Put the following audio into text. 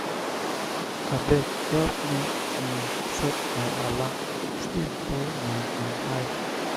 abeg help me um set my alarm sleep full my my eye.